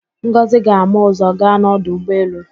Ngọzị ga-ama ụ̀zọ́ gaa n'ọdụ ụgbọelu.